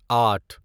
آٹھ